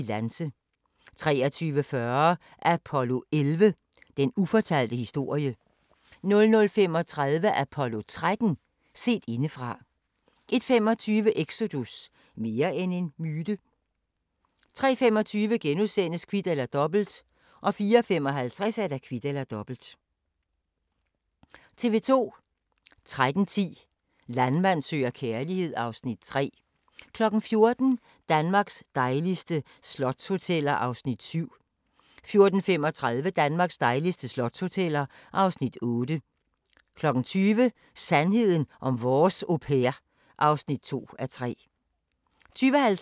13:10: Landmand søger kærlighed (Afs. 3) 14:00: Danmarks dejligste slotshoteller (Afs. 7) 14:35: Danmarks dejligste slotshoteller (Afs. 8) 20:00: Sandheden om vores au pair (2:3) 20:50: Loppe Deluxe (Afs. 11) 21:25: Vi er de unge hjemløse (Afs. 2) 23:15: Klipfiskerne 00:15: Rob Roy 02:35: Cold Case (129:156) 03:25: Det sene sommershow *(ons-tor)